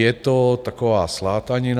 Je to taková slátanina.